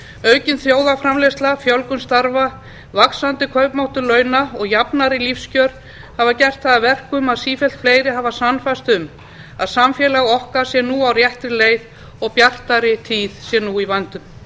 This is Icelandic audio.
aukin þjóðarframleiðsla fjölgun starfa vaxandi kaupmáttur launa og jafnari lífskjör hafa gert það að verkum að sífellt fleiri hafa sannfærst um að samfélag okkar sé nú á réttri leið og að bjartari tíð sé í vændum